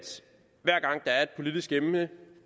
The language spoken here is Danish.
politisk emne